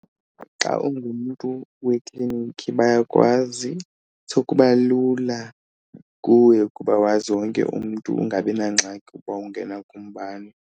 Xa ungumntu wekliniki bayakwazi so kuba lula kuwe ukuba wazi wonke umntu ungabi nangxaki ukuba ungena kubani.